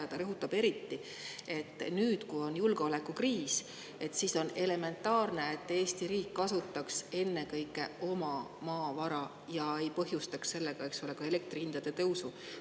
Ja ta rõhutab eriti, et nüüd, kui on julgeolekukriis, on elementaarne, et Eesti riik kasutaks ennekõike oma maavara, ja ei põhjustaks sellega elektri hindade tõusu.